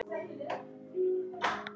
Hann heldur synd